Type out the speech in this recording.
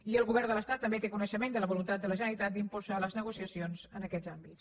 i el govern de l’estat també té coneixement de la voluntat de la generalitat d’impulsar les negociacions en aquests àmbits